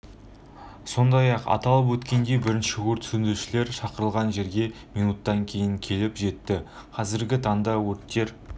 сондай-ақ ол атап өткендей бірінші өрт сөндірушілер шақырылған жерге минуттан кейін келіп жетті қазіргі таңда өрттер